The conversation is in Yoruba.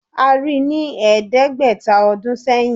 A rí i ní ẹ̀ẹ́dẹ́gbẹ̀ta ọdún sẹ́yìn